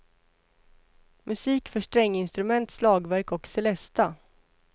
Musik för stränginstrument, slagverk och celesta.